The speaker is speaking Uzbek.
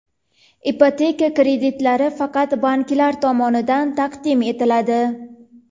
Ipoteka kreditlari faqat banklar tomonidan taqdim etiladi.